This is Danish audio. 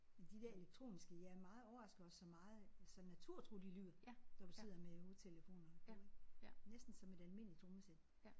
Men de der elektroniske jeg er meget overrasket over så meget så naturtro de lyder når du sidder med hovedtelefonerne på ik. Næsten som et almindeligt trommesæt